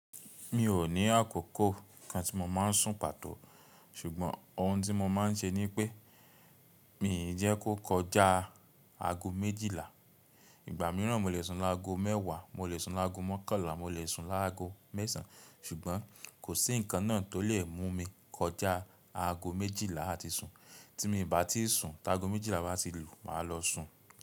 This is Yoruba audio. Mi ò ní àkókò kan tí mo má ń sùn pàtó ṣùgbọ́n ohun tí mo má ń ṣe ni pé, mi jẹ́ kó kọjá aago méjìlá. Ìgbà mìíràn mo lè sùn lágo mẹ́wàá, mo lè sùn lágo mọ́kànlá, mo lè sùn lágo mẹ́sàn-án ṣùgbọ́n kò sí nǹkan náà tó lè mú mi kọjá aago méjìlá láti sùn. Tí mi bá ti sùn tá aago méjìlá bá ti lù, màá lọ sùn.